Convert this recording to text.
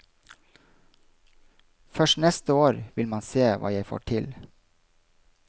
Først neste år vil man se hva jeg får til.